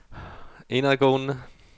indadgående